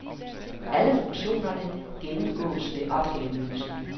Alle funktionerne gennemgåes ved opgaveløsning.